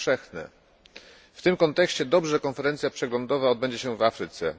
W tym kontekście jest dobrze, że konferencja przeglądowa odbędzie się w Afryce.